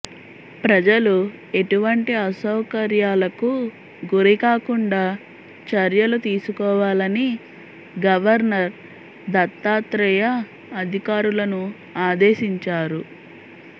ప్రజలు ఎటువంటి అసౌకర్యాలకు గురికాకుండా చర్యలు తీసుకోవాలని గవర్నర్ దత్తాత్రేయ అధికారులను ఆదేశించారు